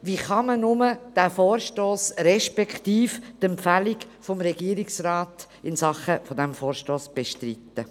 – Wie kann man nur diesen Vorstoss, respektive die Empfehlung des Regierungsrates in Sachen dieses Vorstosses bestreiten?